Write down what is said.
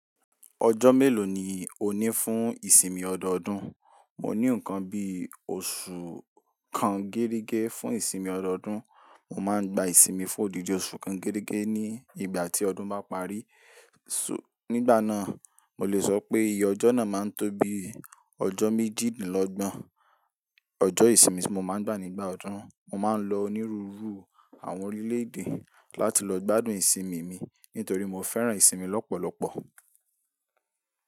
Ọjọ́ mélòó ni o ní fún ìsinmi ọdọọdún? Mo ní nǹkan bí oṣù kan géregé fún ìsinmi ọdọọdún. Mo máa ń gba ìsinmi fún òdìdì oṣù kan géregé ní ìgbà tí ọdún bá parí. So, nígbà náà, mo le sọ pé iye ọjọ́ náà máa ń tó bi ọjọ́ méjìdínlọ́gbọ̀n. Ọjọ́ ìsinmi tí mo máa ń gbà nígbà ọdún, mo máa ń lọ onírúurú àwọn orílẹ̀-èdè láti lọ gbádùn ìsinmi mi nítorí mo fẹ́ràn ìsinmi lọ́pọ̀lọpọ̀.